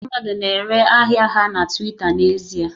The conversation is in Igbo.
Ndị mmadụ na-ere ahịa ha na Twita n'ezie